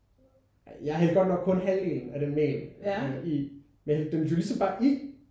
Ja hældte godt nok kun halvdelen af den mel i. Men jeg hældte det jo ligesom bare i